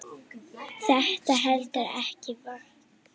Þetta heldur ekki vatni.